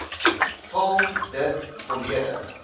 vul dit volledig